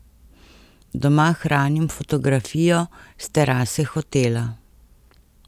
Doma hranim fotografijo s terase hotela.